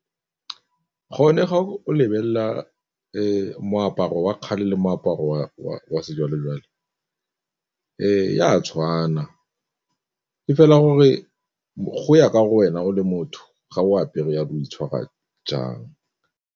Go ne ga o lebelela moaparo wa kgale le moaparo wa sejwalejwale e a tshwana, e fela gore go ya ka gore wena o le motho ga o apere o itshwara jang.